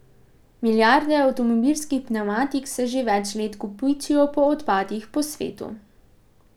Milijarde avtomobilskih pnevmatik se že več let kopičijo po odpadih po svetu.